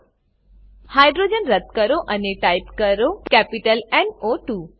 hydrogen hydrogen રદ્દ કરો અને ટાઈપ કરો કેપિટલ ન ઓ 2